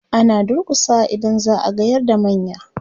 ana durkusawa idan za'a gayar da manya